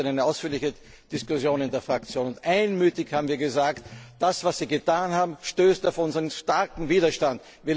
Wir hatten gestern eine ausführliche Diskussion in der Fraktion, und wir haben einmütig gesagt Das, was Sie getan haben, stößt auf unseren starken Widerstand.